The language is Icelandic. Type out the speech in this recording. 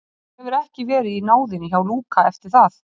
Hann hefur ekki verið í náðinni hjá Lúka eftir það.